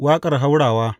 Waƙar haurawa.